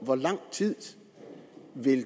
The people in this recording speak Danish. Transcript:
hvor lang tid